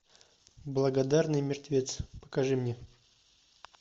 благодарный мертвец покажи мне